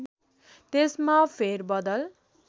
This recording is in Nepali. त्यसमा फेर बदल